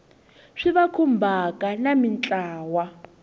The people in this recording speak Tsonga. swi va khumbhaka na mintlawa